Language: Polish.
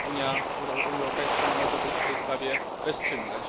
Unia Europejska nie może być w tej sprawie bezczynna.